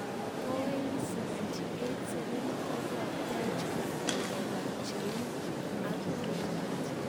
Boeing 787-8 kokokotech koib oldap cheu 67-200ER ak 300ER.